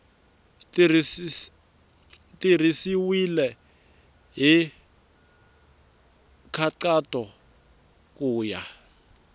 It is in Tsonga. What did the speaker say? tirhisiwile hi nkhaqato ku ya